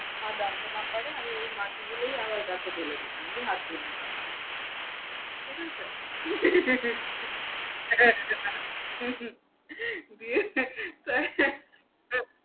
মা জানতে না পারে, আমি ঐ মাটিগুলোই আবার গাছে ঢেলে দিতাম, দিয়ে হাত ধুয়ে নিতাম, ঠিক আছে? হে হে হে হে হু হু দিয়ে